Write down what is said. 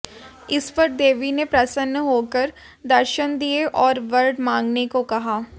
इस पर देवी ने प्रसन्न होकर दर्शन दिए और वर मांगने को कहा